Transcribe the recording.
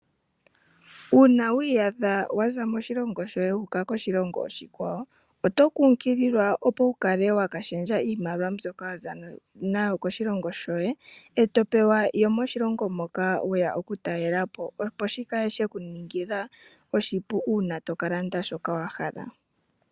Uuna wi iyadha wa za moshilongo shoye wuuka koshilongo oshikwawo, oto nkukililwa opo wu kale wa ka shendja iimaliwa mbyoka waza nayo koshilongo shoye eto pewa yomoshilongo shoka weya okutalela po opo shi kale she ku ningila oshipu uuna to ka landa shoka wa hala.